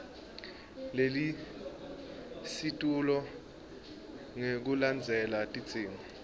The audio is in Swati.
lelisetulu ngekulandzela tidzingo